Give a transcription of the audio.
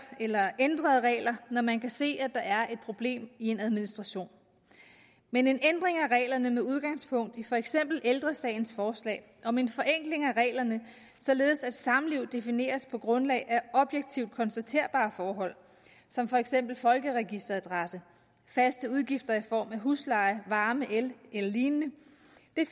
eller ændrede regler når man kan se at der er et problem i en administration men en ændring af reglerne med udgangspunkt i for eksempel ældre sagens forslag om en forenkling af reglerne således at samliv defineres på grundlag af objektivt konstaterbare forhold som for eksempel folkeregisteradresse faste udgifter i form af husleje varme el eller lignende